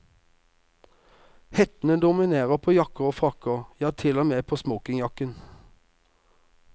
Hettene dominerer på jakker og frakker, ja til og med på smokingjakken.